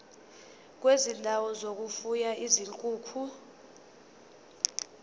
kwezindawo zokufuya izinkukhu